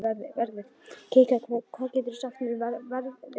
Kikka, hvað geturðu sagt mér um veðrið?